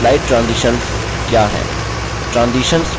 slide transitions क्या हैं